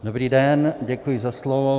Dobrý den, děkuji za slovo.